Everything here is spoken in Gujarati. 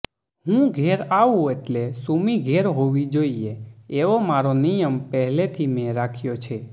હું ઘેર આવું એટલે સુમી ઘેર હોવી જોઈએ એવો મારો નિયમ પહેલેથી મેં રાખ્યો છે